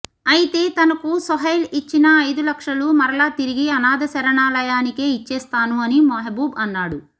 ఐతే తనకు సోహైల్ ఇచ్చిన ఐదు లక్షలు మరలా తిరిగి అనాధ శరణాలయానికే ఇచ్చేస్తాను అని మెహబూబ్ అన్నాడు